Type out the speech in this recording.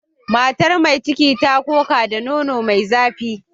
Matar mai ciki ta koka da nono mai zafi.